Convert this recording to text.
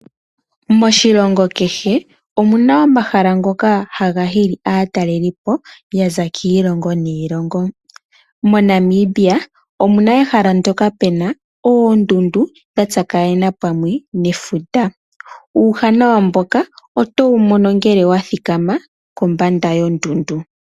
Moshilongo kehe omuna omahala ngoka haga huli aataleliipo ya za kiilongo niilongo. MoNamibia omuna ehala ndyoka puna oondundu dha tsakanena pamwe nefuta. Uuwanawa mboka otowu mono ngele wa thika ma kombanda yondundu.